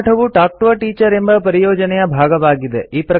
ಈ ಪಾಠವು talk to a teacher ಎಂಬ ಪರಿಯೋಜನೆಯ ಭಾಗವಾಗಿದೆ